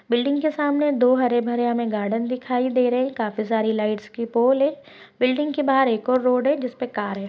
Building के सामने दो हरे-भरे हमें गार्डन दिखाई दे रहे हैं काफी सारे लाइटस की पोल है बिल्डिंग के बाहर एक और रोड है जिस पे कार हैं।